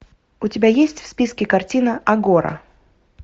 у тебя есть в списке картина агора